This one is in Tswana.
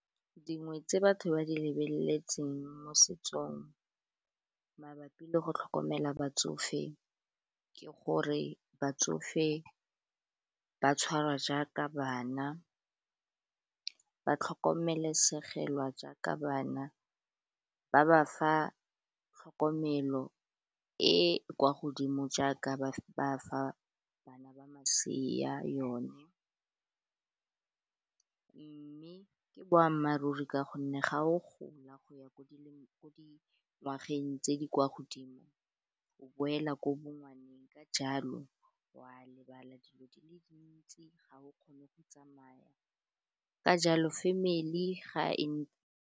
Dingwe tse batho ba di lebeletseng mo setsong mabapi le go tlhokomela batsofe ke gore batsofe ba tshwarwa jaaka bana ba tlhokomelesegwa jaaka bana ba ba fa tlhokomelo e kwa godimo jaaka ba fa bana ba masea yone mme ke boammaaruri ka gonne ga o gola go ya ko ngwageng tse di kwa godimo o boela ko bongwaneng ka jalo wa lebala dilo di le dintsi ga o kgone go tsamaya ka jalo family mmele ga e.